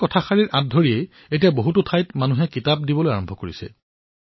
তেতিয়াৰে পৰা বহু লোকে কিতাপ প্ৰদান কৰিবলৈ ধৰিছিল